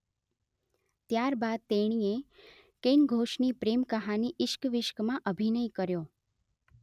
ત્યાર બાદ તેણીએ કેન ઘોષની પ્રેમ કહાની ઇશ્ક વિશ્કમાં અભિનય કર્યો